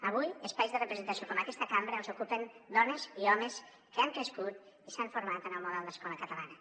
avui espais de representació com aquesta cambra els ocupen dones i homes que han crescut i s’han format en el model d’escola catalana